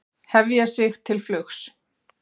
Hefja sig til flugs